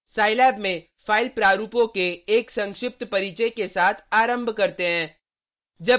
scilab में file प्रारूपों के एक संक्षिप्त परिचय के साथ आरम्भ करते हैं